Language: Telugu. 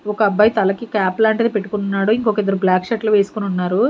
ఒక అబ్బాయి తలకి క్యాప్ లాంటిది పెట్టుకొని ఉన్నాడు ఇంకొక ఇద్దరు బ్లాక్ షర్ట్లు వేసుకొని ఉన్నారు.